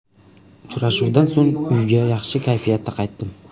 Uchrashuvdan so‘ng, uyga yaxshi kayfiyatda qaytdim.